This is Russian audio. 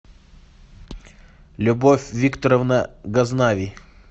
любовь викторовна газнави